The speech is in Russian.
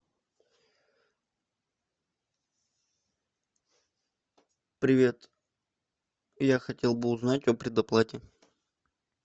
привет я хотел бы узнать о предоплате